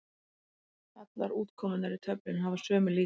Allar útkomurnar í töflunni hafa sömu líkur.